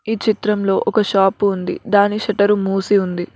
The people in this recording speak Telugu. ఈ చిత్రంలో ఒక షాపు ఉంది దాని షెటర్ మూసి ఉంది.